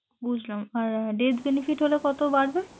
বুঝলাম আর debt benefit হলে কত বাড়বে?